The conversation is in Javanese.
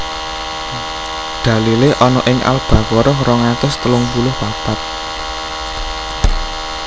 Dalilé ana ing Al Baqarah rong atus telung puluh papat